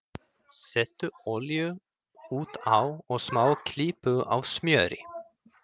Settu olíu út á og smá klípu af smjöri.